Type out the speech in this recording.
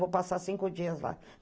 Vou passar cinco dias lá.